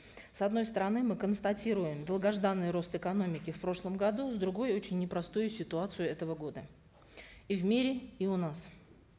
с одной стороны мы констатируем долгожданный рост экономики в прошлом году с другой очень непростую ситуацию этого года и в мире и у нас